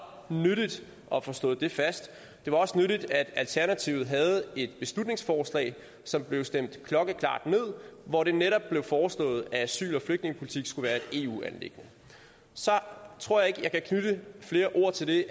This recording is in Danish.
nyttigt at få slået fast det var også nyttigt at alternativet havde et beslutningsforslag som blev stemt klokkeklart ned hvor det netop blev foreslået at asyl og flygtningepolitik skulle være et eu anliggende så tror jeg ikke jeg kan knytte flere ord til det i